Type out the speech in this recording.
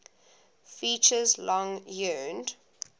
features long yearned